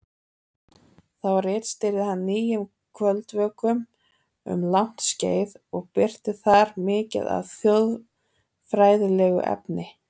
Þá ritstýrði hann Nýjum kvöldvökum um langt skeið og birti þar mikið af þjóðfræðilegu efni.